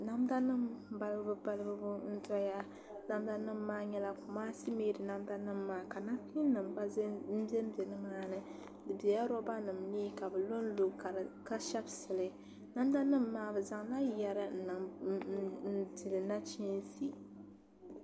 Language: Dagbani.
Nadanim balibu balibu n zɛya namdanim maa nyɛla kumaasi meedi ka namkim gba n bɛ bɛ dini di bela roonanimni ka bɛ lo lo ka shepisili namdanim maa bɛ zanla yɛri n dihili nachinsi